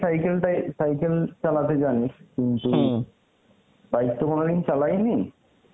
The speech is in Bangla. cycle টাই cycle চালাতে জানি কিন্তু bike তো কোনদিন চালাই নি,